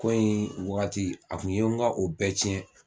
Ko in wagati a kun ye n ka o bɛɛ tiɲɛ